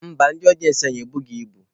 Mba, ndị ọdịensị anyị ebughi ibu.